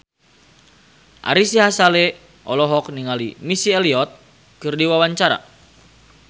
Ari Sihasale olohok ningali Missy Elliott keur diwawancara